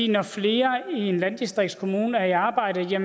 når flere i en landdistriktskommune er i arbejde